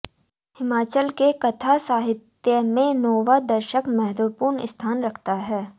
हिमाचल के कथा साहित्य में नौवां दशक महत्त्वपूर्ण स्थान रखता है